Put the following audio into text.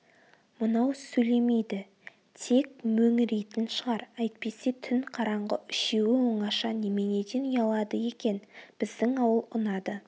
мынау сөйлемейді тек мөңірейтін шығар әйтпесе түн қараңғы үшеуі оңаша неменеден ұялады екен біздің ауыл ұнады